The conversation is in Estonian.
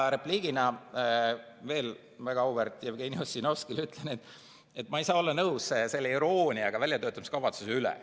Repliigina ütlen väga auväärt Jevgeni Ossinovskile, et ma ei saa olla nõus selle irooniaga väljatöötamiskavatsuse suhtes.